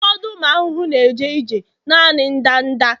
ụfọdụ ụmụ ahụhụ na-eje ije naanị ndanda